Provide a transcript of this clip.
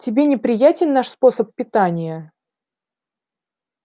тебе неприятен наш способ питания